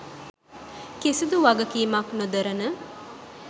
කිසිදු වගකීමක් නොදරන